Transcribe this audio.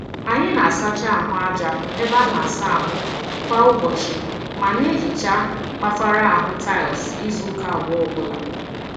Anyi na-asacha ahụ aja ebe a na-asa ahụ kwa ụbọchị ma na-ehicha mkpafara ahụ tiles izuụka abụọ ọbụla.